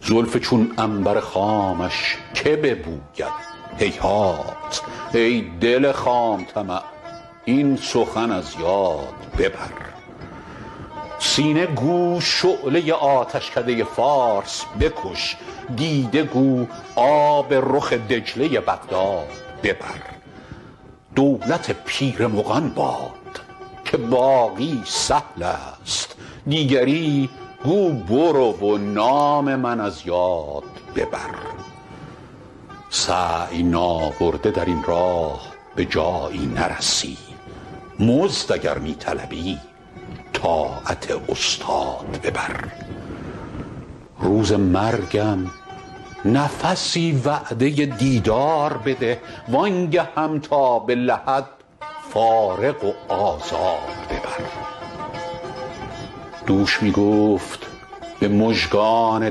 زلف چون عنبر خامش که ببوید هیهات ای دل خام طمع این سخن از یاد ببر سینه گو شعله آتشکده فارس بکش دیده گو آب رخ دجله بغداد ببر دولت پیر مغان باد که باقی سهل است دیگری گو برو و نام من از یاد ببر سعی نابرده در این راه به جایی نرسی مزد اگر می طلبی طاعت استاد ببر روز مرگم نفسی وعده دیدار بده وآن گهم تا به لحد فارغ و آزاد ببر دوش می گفت به مژگان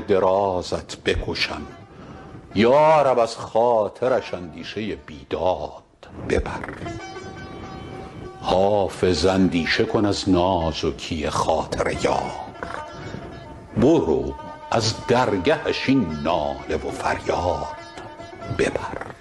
درازت بکشم یا رب از خاطرش اندیشه بیداد ببر حافظ اندیشه کن از نازکی خاطر یار برو از درگهش این ناله و فریاد ببر